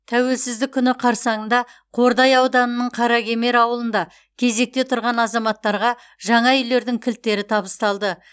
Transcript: тәуелсіздік күні қарсаңында қордай ауданының қаракемер ауылында кезекте тұрған азаматтарға жаңа үйлердің кілттері табысталды